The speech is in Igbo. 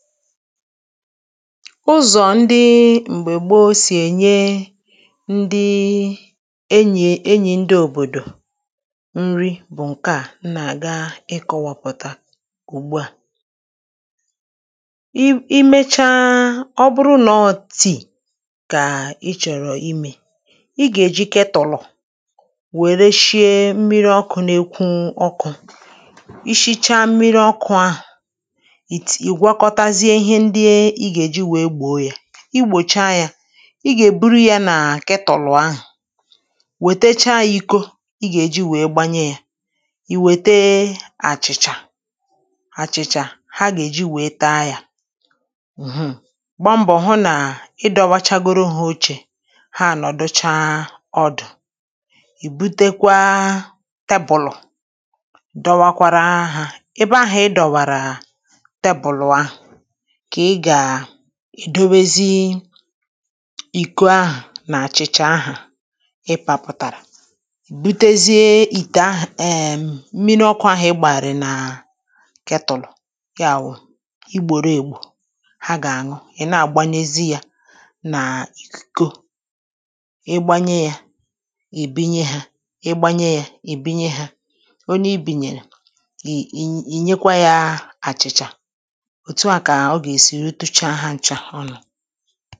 ụzọ̀ ndị m̀gbè gboo sì ènye ndị enyì enyì ndị òbòdò nri bụ̀ ǹke à nà-àga ikọ̇wȧpụ̀ta ùgbua i i mecha ọbụrụ nọ tìì kà ị chọ̀rọ̀ imė ị gà-èjikẹ tụ̀lọ̀ wèrè shịe mmiri ọkụ̇ n’ekwu ọkụ̇ ishicha mmiri ọkụ̇ à i gà-èji wèe gbòo yȧ i gbòcha yȧ ị gà-èburu yȧ nà kịtụ̀lụ̀ ahụ̀ wètechaa yȧ iko ị gà-èji wèe gbanye yȧ ì wète àchị̀chà àchị̀chà ha gà-èji wèe taa yȧ ǹhụ̀ gbaa mbọ hụ nà ịdọ̇wachagoro hȧ ochè ha ànọ̀ducha ọdụ̀ ì butekwa tebụl dọwakwara ahụ̇ i̇ ebe ahụ̀ ị dọ̀wàrà kà ị gà à ì dowezi ìko ahụ̀ nà àchị̀chà ahụ̀ ị pȧpụ̀tàrà ì butezie ìtè ahụ̀ ee mmiri ọkụ̇ ahụ̀ ị gbàràrị̀ nà kẹ tụ̀lụ̀ ya wụ̀ igbòro ègwù ha gà àṅụ ị̀ na-àgbanyezi yȧ nà ìko ị gbanye yȧ ì binye hȧ ị gbanye yȧ ì binye hȧ onye i bìnyèrè ì nyekwa yȧ àchị̀chà enyi̇